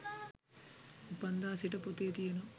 උපන්දා සිට පොතේ තියනවා